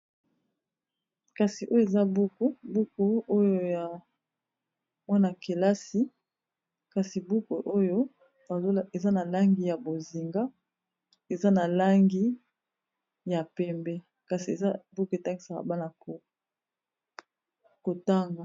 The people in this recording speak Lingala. kasi oyo eza buku buku oyo ya mwana-kelasi kasi buku oyo eza na langi ya bozinga eza na langi ya pembe kasi eza buku etankisaka bana kotanga